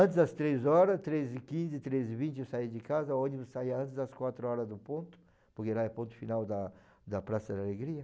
Antes das três horas, três e quinze, três e vinte eu saía de casa, o ônibus saía antes das quatro horas do ponto, porque lá é ponto final da da Praça da Alegria.